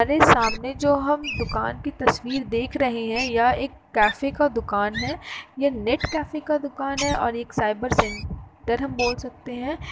हमारे सामने जो हम दुकान की तस्वीर देख रहे है ये एक कैफै का दुकान है ये नेट कैफै का दुकान है और एक साइबर सेंटर हम बोल सकते हैं।